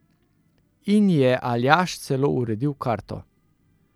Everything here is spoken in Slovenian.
Inji je Aljaž celo uredil karto.